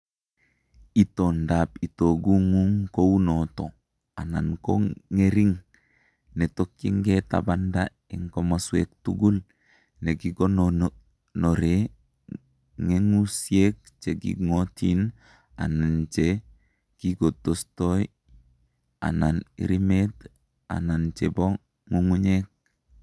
Itoondap itogung'ung' ko uu nooto anan ko ng'ering', ne tokyingei tabanda eng' komoswek tugul, ne ki kigonoree ngeguusyek che king'ootiin, anan che kitogostoi, anan irimeet anan che po ng'ung'unyek.